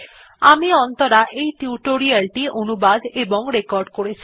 আমি অন্তরা এই টিউটোরিয়াল টি অনুবাদ এবং রেকর্ড করেছি